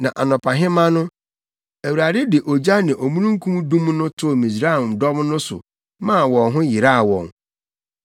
Na anɔpahema no, Awurade de ogya ne omununkum dum no too Misraimdɔm no so maa wɔn ho yeraw wɔn.